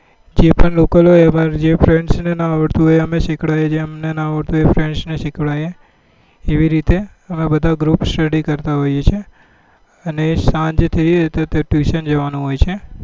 જે પણ લોકો હોય અમાર જે friends નાં આવડતું હોય અએઅમે સીખદીએ છીએ અમને નાં આવડતું હોય એ friends સીખડાવે એવી રીતે અમે બધા group study કરતા હોઈએ છીએ અને સાંજે જઈએ તો tuition જવા નું હોય છે